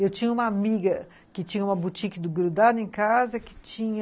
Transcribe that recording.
Eu tinha uma amiga que tinha uma boutique do grudado em casa, que tinha...